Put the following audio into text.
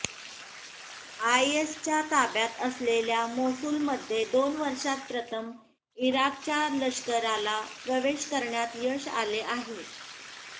आयएसच्या ताब्यात असलेल्या मोसुलमध्ये दोन वर्षात प्रथम इराकच्या लष्कराला प्रवेश करण्यात यश आले आहे